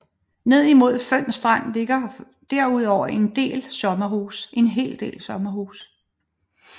Ned imod Føns Strand ligger derudover en hel del sommerhuse